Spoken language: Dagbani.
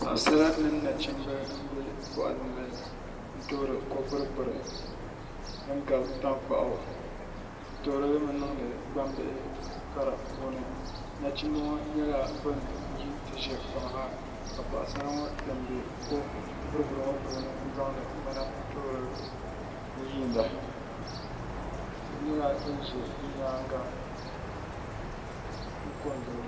Paɣasara mini nachimbi n bɛ boɣali ni n toori ko gburi gburi din gabi tankpaɣu bi toorili limi niŋdi gbambihi kara puuni nachimbi ŋo nyɛla bin yi n ti ʒɛ kpaŋ ha ka paɣasara ŋo kpɛ n bɛ ko gburi gburi ŋo puuni n zaŋdi ŋmana n toori n yiinda tihi nyɛla din ʒɛ bi nyaanga n ko n giliba